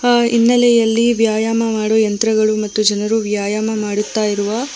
ಆ ಹಿನ್ನಲೆಯಲ್ಲಿ ವ್ಯಾಯಾಮ ಮಾಡುವ ಯಂತ್ರಗಳು ಮತ್ತು ಜನರು ವ್ಯಾಯಾಮ ಮಾಡುತ್ತ ಇರುವ --